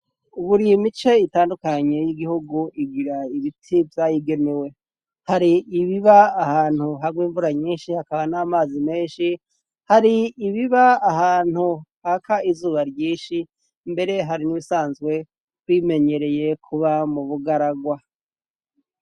uburiye mice itandukanye y'igihugu igira ibiti byayigenewe hari ibiba ahantu hagwa imvura nyinshi hakaba n'amazi menshi hari ibiba ahantu haka izuba ryinshi mbere hari nibisanzwe kwimenyereye kuba mu bugaragwa